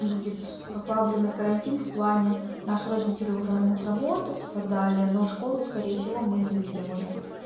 будет послабление карантин в плане наши родители уже могут работать и так далее но школу скорее всего мы не выйдем уже